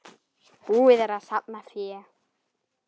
Búið er að safna fé.